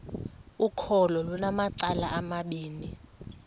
ukholo lunamacala amabini